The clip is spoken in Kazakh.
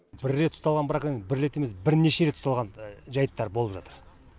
бір рет ұсталған браконьер бір рет емес бірнеше рет ұсталған жайттар болып жатыр